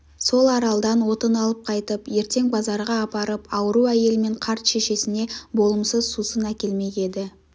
сол аралдан отын алып қайтып ертең базарға апарып ауру әйел мен қарт шешесіне болымсыз сусын әкелмек еді